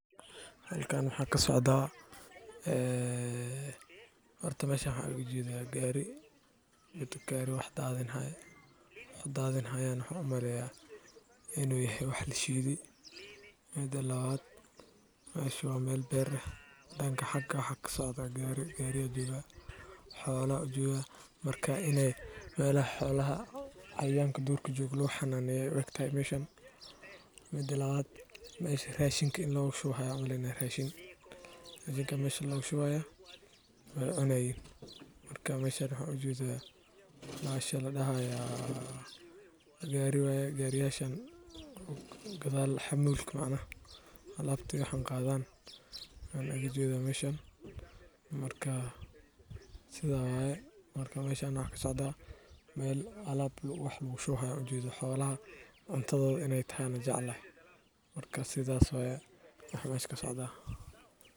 Halkan waxa ka socdaa, horta meshan waxaan u jeedaa gaari wax daadinayo. Wuxuu daadinayo waxaan u maleynayaa inuu yahay wax la shiday. Midda labaad, meesha waa meel beer ah. Danka hagu ka socdo waa gaari, xoolo ayaa joogan. Marka inay meelaha xoolaha ay yaalkaan durka joogaan lagu xanaaneeyo u eg tahay meshan. Midda labaad, meesha raashinka in lagu shubayo u eg tahay baxasha la daayo, gaari waa, gaarigasha gadaal xamuulka ka xaa alabta iyo wax aan qadan baan u jeedaa meshan. Marka meshan ayaa wax ka socdaa, meel alaab cuntada xoolaha loogu shubayo. Marka sidaas bay tahay.